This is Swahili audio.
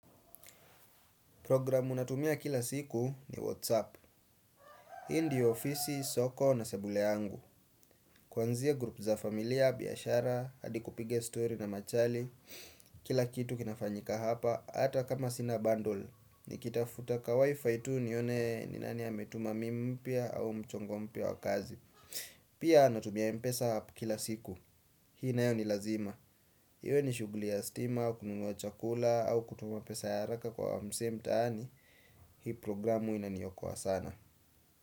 Programu natumia kila siku ni WhatsApp. Ii ndio ofisi, soko na sebule yangu. Kwanzia grupu za familia, biashara, hadi kupiga story na machali. Kila kitu kinafanyika hapa, ata kama sina bundle. Nikitafuta ka Wi-Fi tu nione ni nani ametuma meme mpya au mchongo mpya wa kazi. Pia natumia mpesa app kila siku. Hii nayo ni lazima. Hiwe ni shuguli ya stima, kununua chakula, au kutuma pesa ya haraka kwa msee mtaani. Hii programu inaniokoa sana.